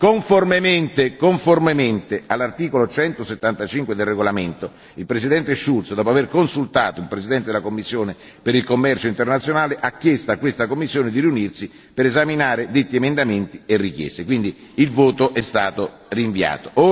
Conformemente all'articolo 175 del regolamento, il Presidente Schultz, dopo aver consultato il presidente della commissione per il commercio internazionale, ha chiesto a questa commissione di riunirsi per esaminare detti emendamenti e richieste. Quindi il voto è stato rinviato.